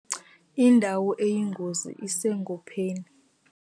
Indawo eyingozi isegopheni.